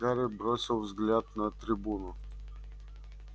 гарри бросил взгляд на трибуну